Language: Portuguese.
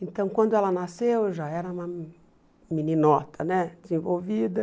Então, quando ela nasceu, eu já era uma meninota né desenvolvida.